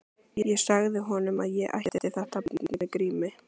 Ég sagði honum að ég ætti þetta barn með Grími